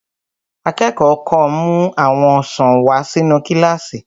Akẹ́kọ̀ọ́ kan mú àwọn ọsàn wà sínu kílásì